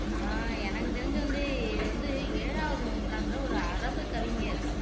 ஆஹ் எனக்கு தெரிஞ்சது வந்து இது வந்து ஏழாவது நூற்றாண்டுல ஒரு அரபு கவிஞர்